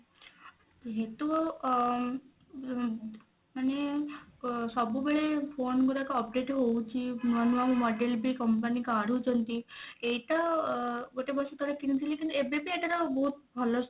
ଯେହେତୁ ଅ ମାନେ ସବୁବେଳେ phone ଗୁଡାକ update ହଉଛି ନୂଆ ନୂଆ model ବି company କାଢୁଛନ୍ତି ଏଇଟା ଗୋଟେ ବର୍ଷ ତଳେ କିଣିଥିଲି କିନ୍ତୁ ଏବେ ବି ଏଟାର ବହୁତ ଭଲ